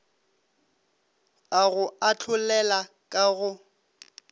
a go ahlolela ka go